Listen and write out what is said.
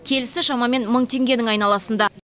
келісі шамамен мың теңгенің айналасында